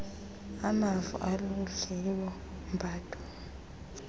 amavo aludliwo mbadu